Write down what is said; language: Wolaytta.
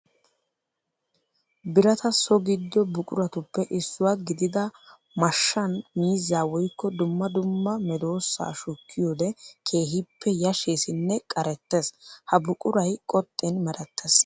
Birata so gido buquratuppe issuwa gididda mashshan miizza woykko dumma dumma medosa shukkiyoode keehippe yasheesinne qarettees. Ha buquray qoxxin meretees.